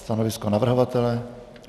Stanovisko navrhovatele?